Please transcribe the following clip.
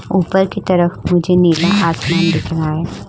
उपर की तरफ मुझे नीला आसमान दिख रहा है।